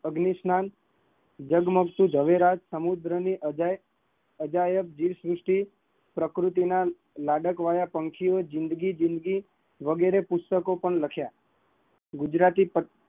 અગ્નિશન, ઝગમગતું જવેરાત, સમુદ્રમંથન, અજાયબ દેહશ્રુષ્ટિ પ્રકૃતિ ના લાડકવાયા પાંખિયો જિંદગી જિંદગી વગેરે પુસ્તકો પણ લખ્યા